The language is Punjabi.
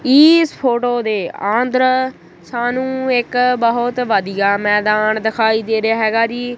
ਇਸ ਫੋਟੋ ਦੇ ਆਦਰ ਸਾਨੂੰ ਇੱਕ ਬਹੁਤ ਵਧੀਆ ਮੈਦਾਨ ਦਿਖਾਈ ਦੇ ਰਿਹਾ ਹੈਗਾ ਜੀ।